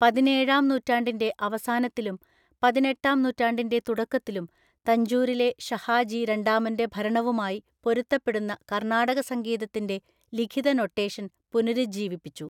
പതിനേഴാം നൂറ്റാണ്ടിന്റെ അവസാനത്തിലും പതിനെട്ടാം നൂറ്റാണ്ടിന്റെ തുടക്കത്തിലും തഞ്ചൂരിലെ ഷഹാജി രണ്ടാമന്റെ ഭരണവുമായി പൊരുത്തപ്പെടുന്ന കർണാടക സംഗീതത്തിന്റെ ലിഖിത നൊട്ടേഷൻ പുനരുജ്ജീവിപ്പിച്ചു.